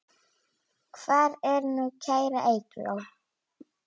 Hvar er nú kæra Eygló?